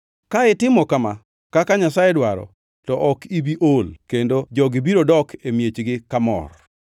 Ka itimo kama kaka Nyasaye dwaro, to ok ibi ol kendo jogi biro dok e miechgi kamor.”